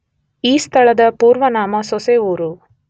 ಈ ಸ್ಥಳದ ಪೂರ್ವನಾಮ ಸೊಸೆವೂರು.